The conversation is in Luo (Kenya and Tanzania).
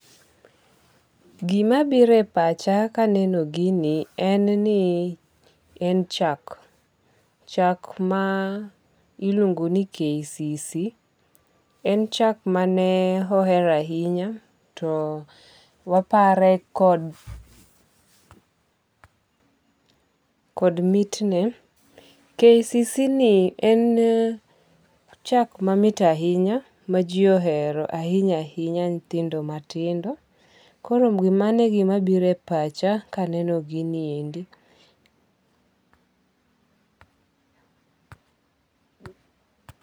Gimabiro e pacha ka aneno ginie, en ni en chak, chak ma iluongo ni KCC en chak mane ohero ahinya, to wapare kod kod mitne, Kcc ni en chak mamit ahinya, en chak ma ji ohero ahinya hinya nyithindo matindo koro mano e gima biro e pacha kaneno gini endi.